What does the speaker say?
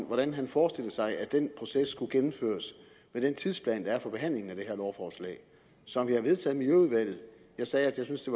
hvordan han forestiller sig at den proces skal gennemføres med den tidsplan der er for behandlingen af det her lovforslag som vi har vedtaget i miljøudvalget jeg sagde at jeg synes det